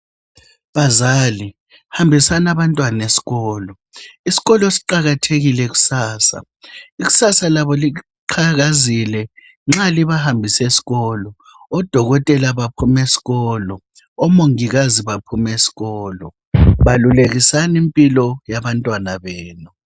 Bazali hambisani abantwana esikolo ,isikolo siqakathekile kusasa ikusasa labo liqhakazile nxa libambise eskolo odokotela baphuma eskolo omongikazi baphuma eskolo balulekisani impilo yabantwana benu.